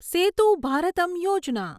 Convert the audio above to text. સેતુ ભારતમ યોજના